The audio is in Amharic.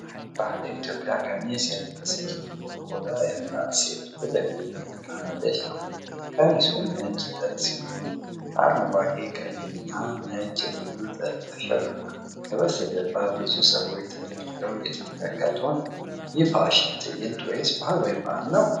ባህላዊ የኢትዮጵያ ቀሚስ የለበሰች ጥቁር ቆዳ ያላት ሴት ወደ ፊት እየተራመደች ነው። ቀሚሱ ነጭ ጥጥ ሲሆን፣ በአረንጓዴ፣ ቀይና ነጭ ልዩ ጥልፍ አሸብርቋል። ከበስተጀርባ ብዙ ሰዎች ተደርድረው እየተመለከቱ ነው፤ ይህ ፋሽን ትዕይንት ወይስ ባህላዊ በዓል ነው?